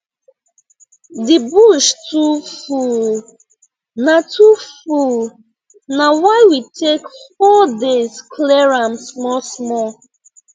the bush too full na too full na why we take four days clear am small small